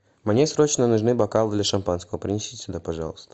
мне срочно нужны бокалы для шампанского принесите сюда пожалуйста